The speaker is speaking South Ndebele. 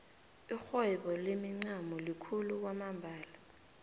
irhwebo lemincamo likhulu kwamambala